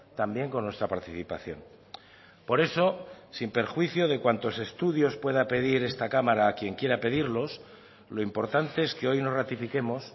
también con nuestra participación por eso sin perjuicio de cuantos estudios pueda pedir esta cámara a quien quiera pedirlos lo importante es que hoy nos ratifiquemos